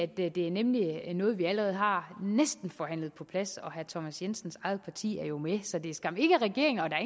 det er nemlig noget vi allerede har forhandlet på plads og herre thomas jensens eget parti er jo med så det er skam ikke regeringen og der